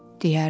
deyərdi.